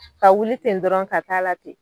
Ka wuli ten dɔrɔn ka taa'a la ten